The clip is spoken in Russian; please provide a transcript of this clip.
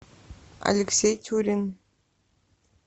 алексей тюрин